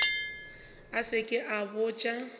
a se ke a botša